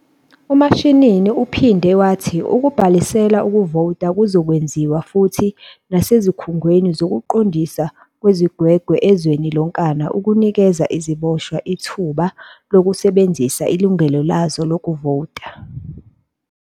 UMashinini uphinde wathi ukubhalisela ukuvota kuzokwenziwa futhi nasezikhungweni zokuqondiswa kwezigwegwe ezweni lonkana ukunikeza iziboshwa ithuba lokusebenzisa ilungelo lazo lokuvota.